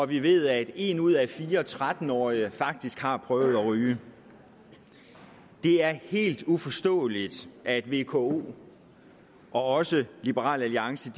vi ved at en ud af fire tretten årige faktisk har prøvet at ryge det er helt uforståeligt at vko og også liberal alliance